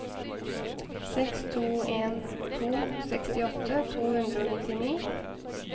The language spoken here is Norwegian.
seks to en to sekstiåtte to hundre og nittini